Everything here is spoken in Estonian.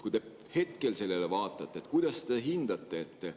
Kui te hetkel sellele tagasi vaatate, kuidas te seda hindate?